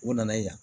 U nana ye yan